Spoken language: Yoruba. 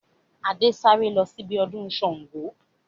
Adé ń sáré lọ síbi ọdún Sángo